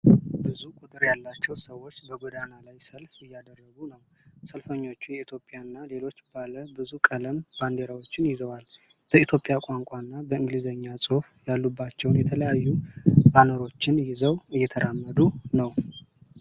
ብዙ ቁጥር ያላቸው ሰዎች በጎዳና ላይ ሰልፍ እያደረጉ ነው። ሰልፈኞቹ የኢትዮጵያ እና ሌሎች ባለ ብዙ ቀለም ባንዲራዎችን ይዘዋል። በኢትዮጵያ ቋንቋ እና በእንግሊዘኛ ጽሑፎች ያሉባቸውን የተለያዩ ባነሮችን ይዘው እየተራመዱ ነው።